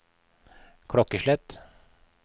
klokkeslett